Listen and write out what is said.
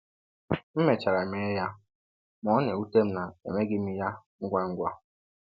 M mechara mee ya, ma ọ na-ewute m na emeghị m ya ngwa ngwa.